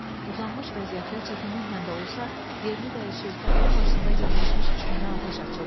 Uzanmış vəziyyətdə çətinliklə də olsa, yerini dəyişir, təpənin başında cəmləşmiş düşmənə atəş açırdı.